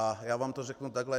A já vám to řeknu takhle.